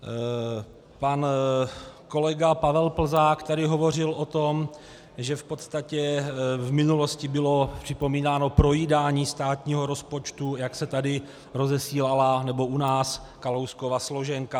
Pan kolega Pavel Plzák tady hovořil o tom, že v podstatě v minulosti bylo připomínáno projídání státního rozpočtu, jak se tady rozesílala, nebo u nás, Kalouskova složenka.